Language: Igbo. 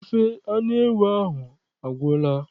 Ofe anụ ewu ahụ agwụla?